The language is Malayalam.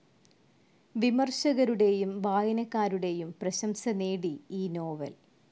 വിമർശകരുടെയും വായനക്കാരുടെയും പ്രശംസ നേടി ഈ നോവൽ.